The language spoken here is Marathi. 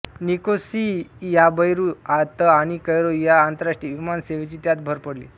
निकोसियाबैरूतआणि कैरो या आंतरराष्ट्रीय विमान सेवेची त्यात भर पडली